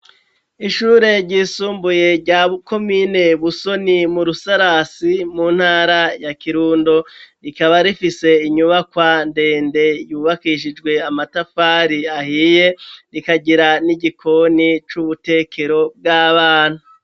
Ishure ryisumbuye rya komine busoni mu Rusarasi mu ntara ya kirundo rikaba rifise inyubakwa ndende yubakishijwe amatafari ahiye rikagira n'igikoni c'ubutekero bw'abana.